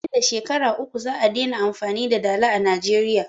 Nan da Shekara uku za'a dena amfani da dala a Najeriya.